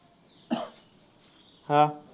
हा.